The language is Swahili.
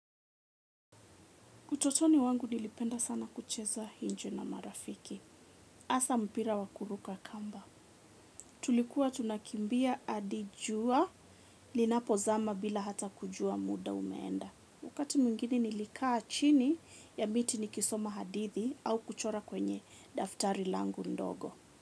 Utotoni wangu nilipenda sana kucheza nje na marafiki. Hasa mpira wa kuruka kamba. Tulikuwa tunakimbia hadi jua linapozama bila hata kujua muda umeenda. Wakati mwingine nilikaa chini ya miti nikisoma hadithi au kuchora kwenye daftari langu ndogo.